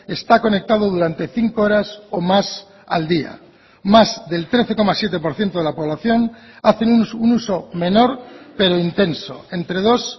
está conectado durante cinco horas o más al día más del trece coma siete por ciento de la población hacen un uso menor pero intenso entre dos